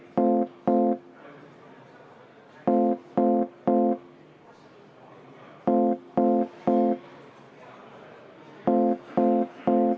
Tundub, et kõiki vaidlusküsimusi ajapuuduse tõttu ette kanda ei jõua.